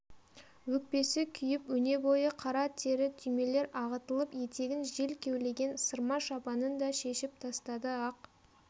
өкпесі күйіп өнебойы қара тері түймелер ағытылып етегін жел кеулеген сырма шапанын да шешіп тастады ақ